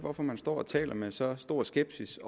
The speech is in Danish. hvorfor han står og taler med så stor skepsis